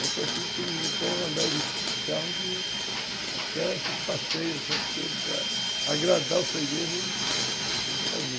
Tanto assim que eles estão alegres de carro que até esses passeios, essas coisas para agradar o freguêses, eles faziam.